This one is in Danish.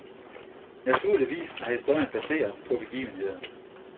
Naturligvis er historien baseret begivenheder.